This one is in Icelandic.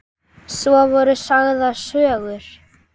Svo voru sagðar sögur.